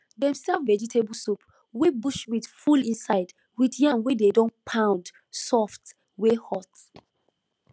dem serve vegetable soup wey bush meat full inside with yam wey dey don pound soft wey hot